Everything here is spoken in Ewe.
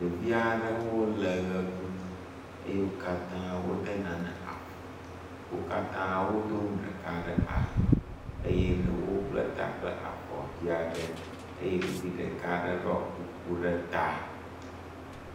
Ɖevi aɖewo le ʋe ɖum eye wo katã wode nane afɔ. Wo katã wodo nu ɖeka ɖe ali eye ɖewo ble ta kple avɔ vi aɖe eye ɖevi ɖeka aɖe ɖɔ kuku ɖe ta.